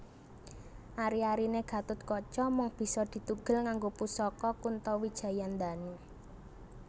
Ari arine Gathutkaca mung bisa ditugel nganggo pusaka Kuntawijayandanu